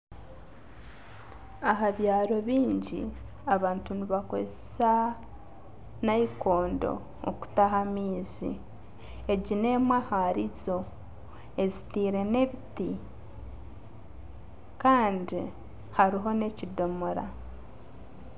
Aha byaaro bingi, abantu nibakozesa nayikondo okutaha amaizi. Egi n'emwe ahari zo ezitiire n'ebiti Kandi hariho nekidomora.